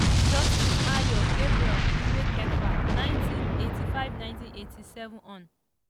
justice ayo gabriel lrikefe - 1985–1987 hon.